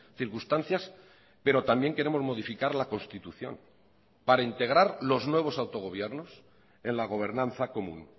circunstancias pero también queremos modificar la constitución para integrar los nuevos autogobiernos en la gobernanza común